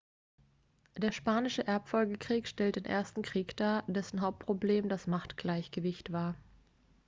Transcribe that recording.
der spanische erbfolgekrieg stellt den ersten krieg dar dessen hauptproblem das machtgleichgewicht war